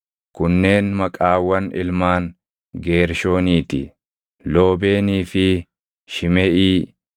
Kunneen maqaawwan ilmaan Geershoonii ti: Loobeenii fi Shimeʼii.